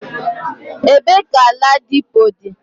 Ebe ka ladipo di?